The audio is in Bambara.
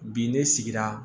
Bi ne sigira